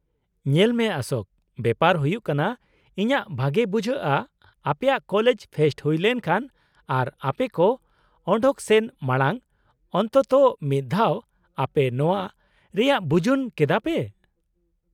-ᱧᱮᱞ ᱢᱮ ᱚᱥᱳᱠ, ᱵᱮᱯᱟᱨ ᱦᱳᱭᱳᱜ ᱠᱟᱱᱟ ᱤᱧᱟᱹᱜ ᱵᱷᱟᱜᱮ ᱵᱩᱡᱷᱟᱹᱜᱼᱟ ᱟᱯᱮᱭᱟᱜ ᱠᱚᱞᱮᱡᱽ ᱯᱷᱮᱥᱴ ᱦᱩᱭ ᱞᱮᱱᱠᱷᱟᱱ ᱟᱨ ᱟᱯᱮ ᱠᱚ ᱚᱰᱳᱝ ᱥᱮᱱ ᱢᱟᱲᱟᱝ ᱚᱱᱛᱚᱛᱚ ᱢᱤᱫ ᱫᱷᱟᱣ ᱟᱯᱮ ᱱᱚᱶᱟ ᱨᱮᱭᱟᱜ ᱵᱩᱡᱩᱱ ᱠᱮᱫᱟ ᱯᱮ ᱾